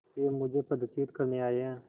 वे मुझे पदच्युत करने आये हैं